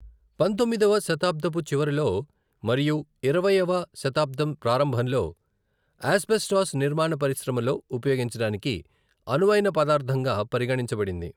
పంతొమ్మిదవ శతాబ్దపు చివరిలో మరియు ఇరవైవ శతాబ్దం ప్రారంభంలో, ఆస్బెస్టాస్ నిర్మాణ పరిశ్రమలో ఉపయోగించడానికి అనువైన పదార్థంగా పరిగణించబడింది.